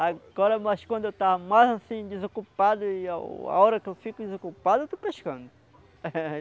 Agora, mas quando eu estou mais assim desocupado, e o a hora que eu fico desocupado, eu estou pescando.